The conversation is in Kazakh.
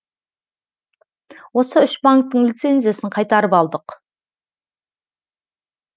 осы үш банктің лицензиясын қайтарып алдық